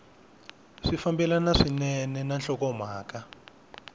swi fambelana swinene na nhlokomhaka